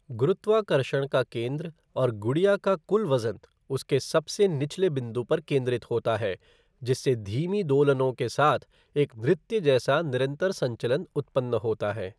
गुरुत्वाकर्षण का केंद्र और गुड़िया का कुल वज़न उसके सबसे निचले बिंदु पर केंद्रित होता है, जिससे धीमी दोलनों के साथ एक नृत्य जैसा निरंतर संचलन उत्पन्न होता है।